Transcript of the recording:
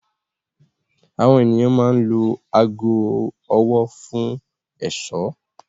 Àwọn ènìyàn máa ń lo aago ọwọ́ fún ẹ̀ṣọ́.